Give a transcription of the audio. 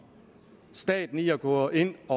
staten i at gå ind at